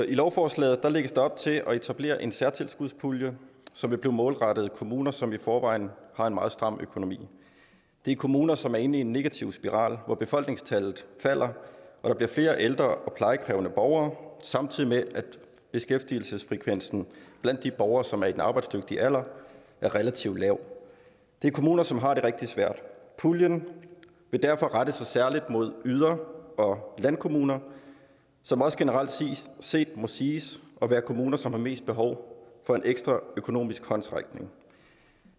i lovforslaget lægges der op til at etablere en særtilskudspulje som vil blive målrettet kommuner som i forvejen har en meget stram økonomi det er kommuner som er inde i en negativ spiral hvor befolkningstallet falder og der bliver flere ældre og plejekrævende borgere samtidig med at beskæftigelsesfrekvensen blandt de borgere som er i den arbejdsdygtige alder er relativt lav det er kommuner som har det rigtig svært puljen vil derfor rette sig særlig mod yder og landkommuner som også generelt set må siges at være kommuner som har mest behov for en ekstra økonomisk håndsrækning